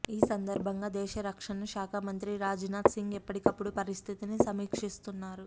ఈ సందర్భంగా దేశ రక్షణ శాఖ మంత్రి రాజనాథ్ సింగ్ ఎప్పటికప్పుడు పరిస్థితిని సమీక్షిస్తున్నారు